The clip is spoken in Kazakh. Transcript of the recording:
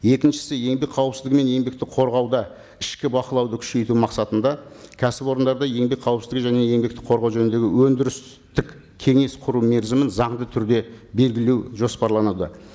екіншісі еңбек қауіпсіздігі мен еңбекті қорғауда ішкі бақылауды күшейту мақсатында кәсіпорындарды еңбек қауіпсіздігі және еңбекті қорғау жөніндегі өндірістік кеңес құру мерзімін заңды түрде белгілеу жоспараланады